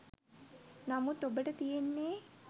නමුත් ඔබට තියෙන්නේ